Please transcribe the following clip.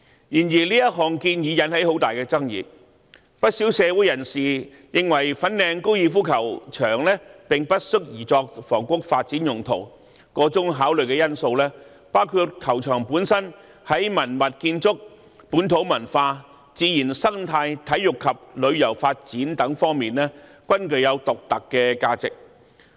然而，這項建議引起很大的爭議，不少社會人士認為粉嶺高爾夫球場並不適宜作房屋發展用途，箇中考慮因素包括球場本身在文物建築、本土文化、自然生態、體育及旅遊發展等方面，均具有獨特的價值。